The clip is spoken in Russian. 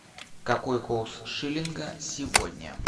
какой курс шиллинга сегодня